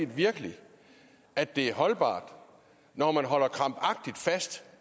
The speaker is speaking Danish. virkelig at det er holdbart når man holder krampagtigt fast